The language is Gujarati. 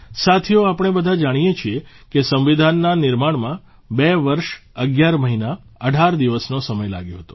સાથીઓ આપણે બધા જાણીએ છીએ કે સંવિધાનના નિર્માણમાં બે વર્ષ 11 મહિના 18 દિવસનો સમય લાગ્યો હતો